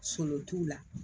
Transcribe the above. Solon t'u la